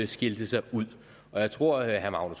skilte sig ud jeg tror at herre